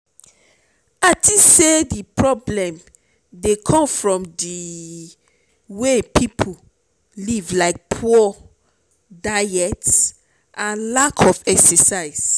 i think say di problem dey come from di way people live like poor diet and lack of exercise.